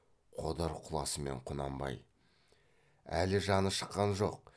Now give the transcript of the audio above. қодар құласымен құнанбай әлі жаны шыққан жоқ